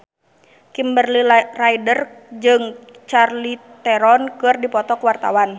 Kimberly Ryder jeung Charlize Theron keur dipoto ku wartawan